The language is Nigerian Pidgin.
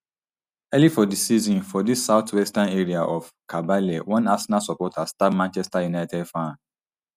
early for di season for di southwestern area of kabale one arsenal supporter stab manchester united fan